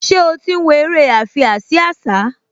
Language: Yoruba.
Ṣé ó ti ń wo eré àfiásíásá?